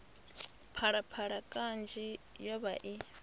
phalaphala kanzhi yo vha i